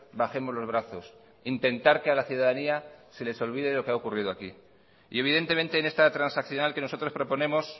bajemos los brazos intentar que a la ciudadanía se les olvide lo que ha ocurrido aquí y evidentemente en esta transaccional que nosotros proponemos